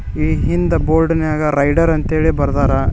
ಈ ಹಿಂದೆ ಬೋರ್ಡ್ನಾಗ ರೈಡರ್ ಅಂತ ಹೇಳಿ ಬರ್ದಾರ.